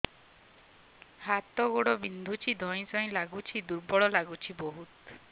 ହାତ ଗୋଡ ବିନ୍ଧୁଛି ଧଇଁସଇଁ ଲାଗୁଚି ଦୁର୍ବଳ ଲାଗୁଚି ବହୁତ